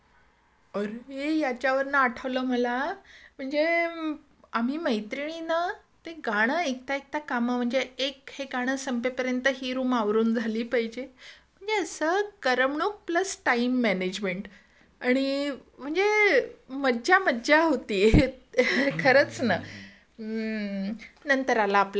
अरे याच्यावरन आठवलं मला म्हणजे आम्ही मैत्रिणी न ते गाणं ऐकता ऐकता काम म्हणजे एक ते गाणं संपेपर्यंत हे रूम आवरून झाली पाहिजे म्हणजे असं करमणूक प्लस टाईम मॅनेजमेंट आणि म्हणजे मज्जा मज्जा मज्जा होती खरंच ना नंतर आला आपला टीव्ही.